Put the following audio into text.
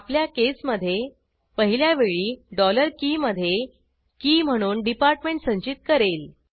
आपल्या केसमधे पहिल्यावेळी डॉलर की के मधे की म्हणून डिपार्टमेंट संचित करेल